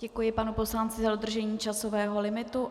Děkuji panu poslanci za dodržení časového limitu.